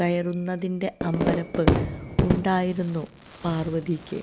കയറുന്നതിന്റെ അമ്പരപ്പ് ഉണ്ടായിരുന്നു പാര്വതിക്ക്